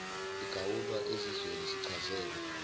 igawulwa ezizweni sichazele